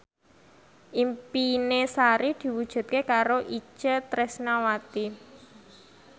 impine Sari diwujudke karo Itje Tresnawati